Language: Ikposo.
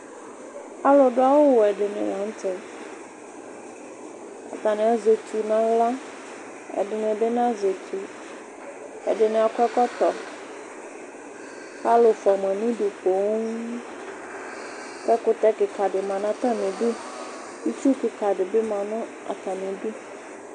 alò du awu wɛ di ni lantɛ atani azɛ etu n'ala ɛdini bi na zɛ etu ɛdini akɔ ɛkɔtɔ k'alò fua ma n'udu poŋ k'ɛkutɛ keka di ma n'atami du itsu keka di bi ma no atami du.